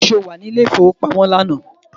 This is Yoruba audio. Ṣé o wà ní ilé ìfowópamọ́ lánàá?